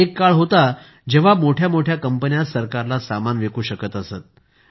एक काळ होता जेव्हा मोठ्या कंपन्याच सरकारला सामान विकू शकत असत